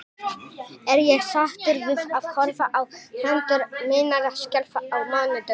Er ég sáttur við að horfa á hendur mínar skjálfa á mánudögum?